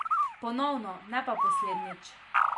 Ponovno, ne pa poslednjič.